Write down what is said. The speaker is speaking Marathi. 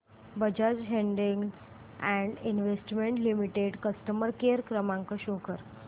Bajaj holdings and investment limited customer care क्रमांक शो कर